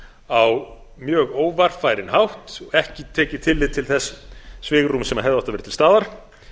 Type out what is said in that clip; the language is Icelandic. á mjög óvarfærinn hátt ekki tekið tillit til þess svigrúms sem hefði átt að vera til staðar